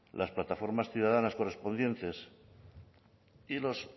las plataformas ciudadanas correspondientes y los